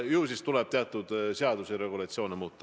Ju siis tuleb teatud seaduse regulatsioone muuta.